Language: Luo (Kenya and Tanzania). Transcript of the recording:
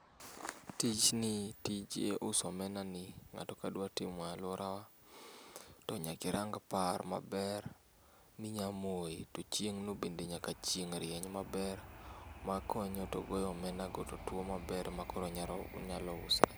Tijni tij uso omenani ng'ato kadwa timo e aluorawa tonyaka irang par maber minya moye to chieng'no bende nyaka chieng' rieny maber mankonyo togoyo omenago totuo maber makoro nyalo onyalo usre.